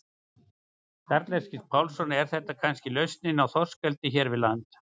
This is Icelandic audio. Karl Eskil Pálsson: Er þetta kannski lausnin í þorskeldi hér við land?